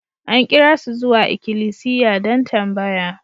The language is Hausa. An kira su zuwa ikilisiya don tambaya.